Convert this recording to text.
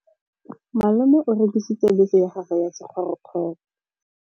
Malome o rekisitse bese ya gagwe ya sekgorokgoro.